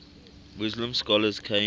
muslim scholars came